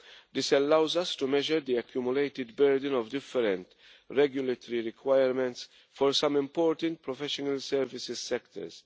This allows us to measure the accumulated burden of different regulatory requirements for some important professional services sectors.